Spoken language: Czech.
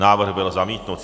Návrh byl zamítnut.